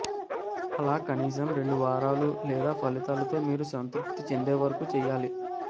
అలా కనీసం రెండు వారాలు లేదా ఫలితాలతో మీరు సంతృప్తి చెందేవరకు చెయ్యాలి